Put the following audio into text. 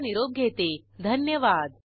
सहभागासाठी धन्यवाद